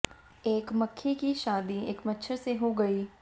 एक मक्खी की शादी एक मच्छर से हो गई